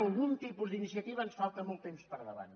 algun tipus d’iniciativa ens falta molt temps per endavant